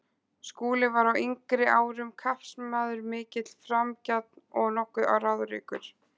Skúli var á yngri árum kappsmaður mikill, framgjarn og nokkuð ráðríkur.